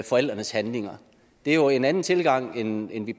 forældrenes handlinger det er jo en anden tilgang end end vi